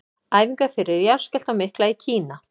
Æfingar fyrir jarðskjálftann mikla í Kína.